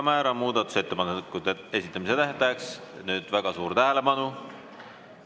Määran muudatusettepanekute esitamise tähtajaks – nüüd väga suur tähelepanu!